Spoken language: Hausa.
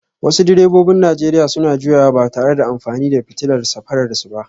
Wasu direbobin Najeriya suna juyawa ba tare da amfani da fitilar safararsu ba